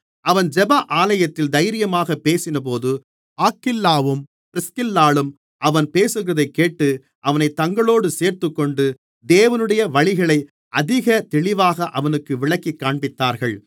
அவன் ஜெப ஆலயத்தில் தைரியமாகப் பேசினபோது ஆக்கில்லாவும் பிரிஸ்கில்லாளும் அவன் பேசுகிறதைக் கேட்டு அவனைத் தங்களோடு சேர்த்துக்கொண்டு தேவனுடைய வழிகளை அதிகத் தெளிவாக அவனுக்கு விளக்கிக் காண்பித்தார்கள்